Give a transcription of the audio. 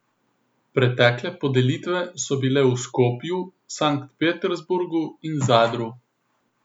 Pretekle podelitve so bile v Skopju, Sankt Peterburgu in Zadru.